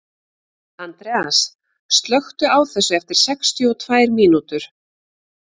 Andreas, slökktu á þessu eftir sextíu og tvær mínútur.